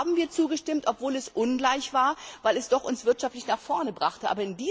USA. Da haben wir zugestimmt, obwohl es ungleich war, weil es uns wirtschaftlich nach vorne brachte.